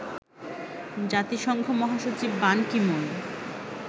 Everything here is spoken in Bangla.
জাতিসংঘ মহাসচিব বান কি মুন